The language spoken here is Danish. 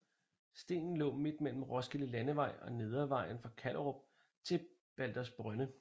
Stenen lå midt mellem Roskilde Landevej og Nedrevejen fra Kallerup til Baldersbrønde